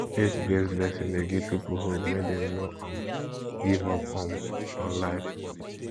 faith based lesson de give pipo hope make dem no um give up um on life